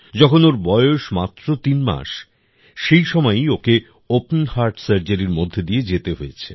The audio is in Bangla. যখন ওর বয়স মাত্র তিন মাস সেই সময়ই ওকে ওপেন হার্ট সার্জারির মধ্যে দিয়ে যেতে হয়েছে